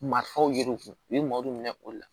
Marifo yir'u kun u ye marɔmu minɛ o la